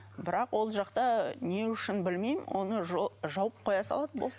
бірақ ол жақта не үшін білмеймін оны жауып қоя салады болды